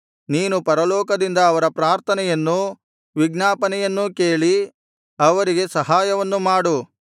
ನೀನು ಪರಲೋಕದಿಂದ ಅವರ ಪ್ರಾರ್ಥನೆಯನ್ನೂ ವಿಜ್ಞಾಪನೆಯನ್ನೂ ಕೇಳಿ ಅವರಿಗೆ ಸಹಾಯವನ್ನು ಮಾಡು